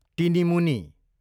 टिनिमुनी